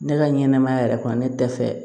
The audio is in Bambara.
Ne ka ɲɛnɛmaya yɛrɛ kɔnɔ ne dɛsɛ